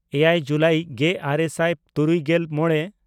ᱮᱭᱟᱭ ᱡᱩᱞᱟᱭ ᱜᱮᱼᱟᱨᱮ ᱥᱟᱭ ᱛᱩᱨᱩᱭᱜᱮᱞ ᱢᱚᱬᱮ